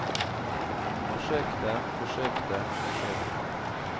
forsøkte forsøkte forsøkte